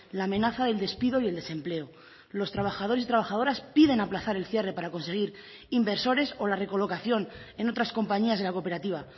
la amenaza del despido y el desempleo los trabajadores y trabajadoras piden aplazar el cierre para conseguir inversores o la recolocación en otras compañías de la cooperativa